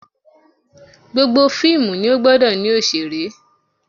Gbogbo fíìmù ni ó gbọdọ̀ ní òṣèré